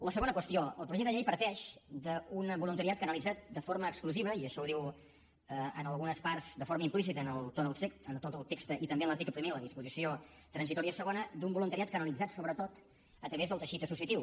la segona qüestió el projecte de llei parteix d’un voluntariat canalitzat de forma exclusiva i això ho diu en algunes parts de forma implícita en tot el text i també en l’article primer a la disposició transitòria segona d’un voluntariat canalitzat sobretot a través del teixit associatiu